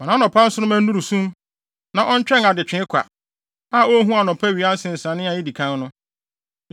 Ma nʼanɔpa nsoromma nnuru sum; na ɔntwɛn adekyee kwa a onhu anɔpawia nsensanee a edi kan no,